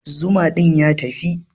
Zuma din ya tafi.